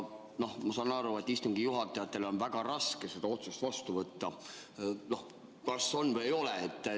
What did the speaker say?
Noh, ma saan aru, et istungi juhatajatel on väga raske seda otsust vastu võtta, kas on või ei ole.